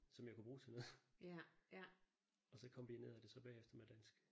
Som jeg kunne bruge til noget. Og så kombinerede jeg det så bagefter med dansk